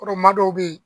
Kɔrɔma dɔw be yen